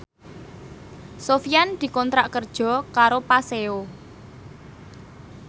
Sofyan dikontrak kerja karo Paseo